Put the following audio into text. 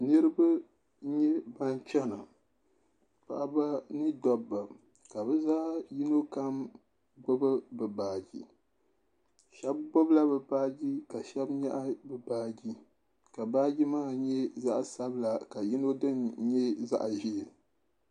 Niriba n nyɛ ban chana paɣaba ni dɔbba ka bi zaa yino kam gbubi bi baaji shɛba gbubi la baaji ka shɛba nyaɣi bi baaji ka baaji maa nyɛ zaɣa sabila ka yino dini nyɛ zaɣa ʒee.